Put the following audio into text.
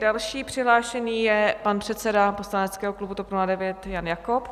Další přihlášený je pan předseda poslaneckého klubu TOP 09 Jan Jakob.